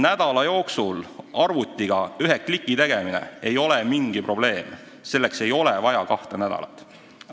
Nädala jooksul paari kliki tegemine ei ole mingi probleem, selleks ei ole vaja kahte nädalat.